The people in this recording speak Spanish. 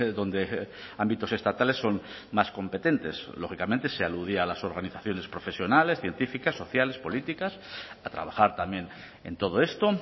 donde ámbitos estatales son más competentes lógicamente se aludía a las organizaciones profesionales científicas sociales políticas a trabajar también en todo esto